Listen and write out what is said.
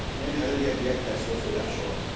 Mənə hələ gəlir ki, yay təhsil olsa yaxşı olar.